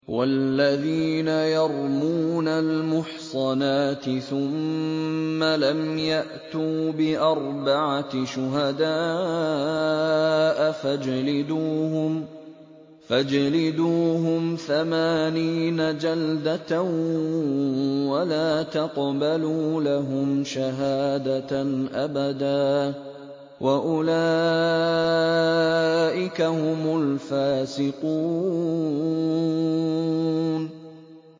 وَالَّذِينَ يَرْمُونَ الْمُحْصَنَاتِ ثُمَّ لَمْ يَأْتُوا بِأَرْبَعَةِ شُهَدَاءَ فَاجْلِدُوهُمْ ثَمَانِينَ جَلْدَةً وَلَا تَقْبَلُوا لَهُمْ شَهَادَةً أَبَدًا ۚ وَأُولَٰئِكَ هُمُ الْفَاسِقُونَ